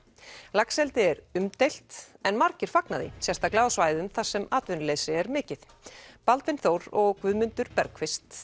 laxeldi er umdeilt en margir fagna því sérstaklega á svæðum þar sem atvinnuleysi er mikið Baldvin Þór og Guðmundur